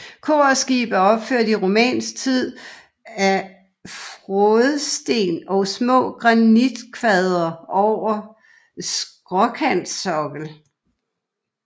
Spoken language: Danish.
Kor og skib er opført i romansk tid af frådsten og små granitkvadre over skråkantsokkel